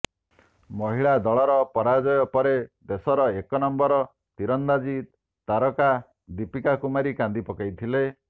ମହିଳା ଦଳର ପରାଜୟ ପରେ ଦେଶର ଏକ ନମ୍ବର ତୀରନ୍ଦାଜୀ ତାରକା ଦୀପିକା କୁମାରୀ କାନ୍ଦି ପକାଇଥିଲେ